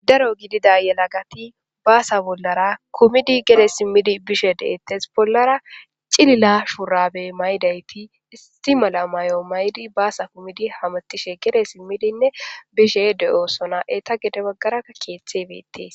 daro gidida yelagati baasa bollara kumidi gede simmidi bishe de'ettes bollara cilila shurabe maydayti isi mala mayo maydi baasa kumidi hametishe gere simmidinne bishe de'oosona eta gede baggaraka keeththe betees